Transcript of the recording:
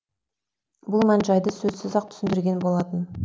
бұл мән жайды сөзсіз ақ түсіндірген болатын